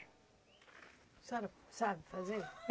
A senhora sabe fazer?